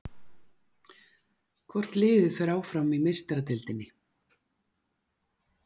Hvort liðið fer áfram í Meistaradeildinni?